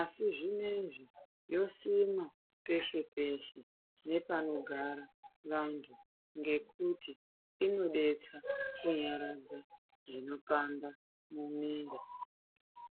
asi zvinezvi yosimwa peshe peshe nepanogara vantu ngekuti inodetsa kunyaradza zvinopanda mwiri.